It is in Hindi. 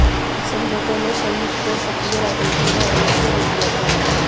समझौते ने शरीफ को सक्रिय राजनीति में आने से रोक दिया था